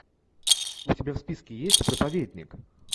у тебя в списке есть проповедник